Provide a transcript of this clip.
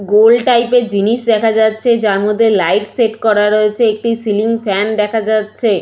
গোল type এর জিনিস দেখা যাচ্ছে যার মধ্যে লাইট সেট করা রয়েছে একটি সিলিং ফ্যান দেখা যাচ্ছে।